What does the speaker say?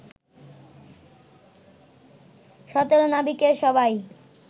১৭ নাবিকের সবাই